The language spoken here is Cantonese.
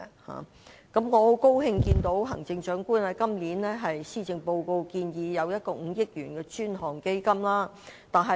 我感到很高興，行政長官在今年的施政報告建議設立5億元專項基金。